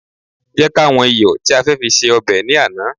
jẹ ká wan iyọ ti a fe fi se obe ni Ana